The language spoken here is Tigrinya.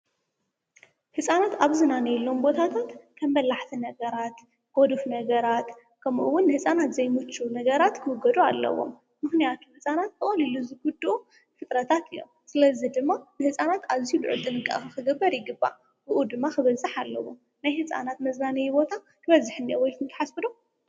ሕፃናት ኣብዝናነ ኢሎም ቦታትት ከምመላሕቲ ነገራት ጐዱፍ ነገራት ከምኡውን ሕፃናት ዘይሙኑ ነገራት ክወገዱ ኣለዎም ምሕንያቱ ሕፃናት ብቀልሉ ዝጕድኡ ፍጥረታት እዮም። ስለዝ ድማ ንሕፃናት ኣዙይ ድማ ጥንቃኽ ኽግበር ይግባብኡ ድማ ኽበዛሕ ኣለዎም ናይ ሕፃናት መዝናነይ ቦታ ድበዝሕነወልትን ተሓስብዶ?